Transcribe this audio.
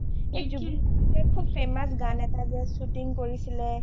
এই জুবিন গাৰ্গে সোব famous গান এটা যে shooting কৰিছিলে